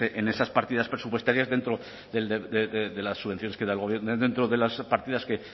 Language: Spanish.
en esas partidas presupuestarias dentro de las subvenciones que da el gobierno dentro de las partidas que